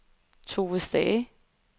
Tove Stage